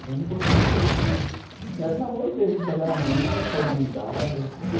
Então, ela me conta muito isso, que era um namoro mesmo, de pegar na mão e sair de mão dada, entendeu?